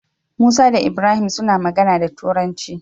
Musa da ibrahim suna magana da turanci